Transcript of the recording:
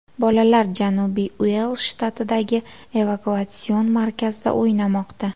Bolalar Janubiy Uels shtatidagi evakuatsion markazda o‘ynamoqda.